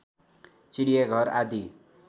चिडियाघर आदि